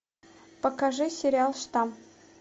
покажи сериал штамм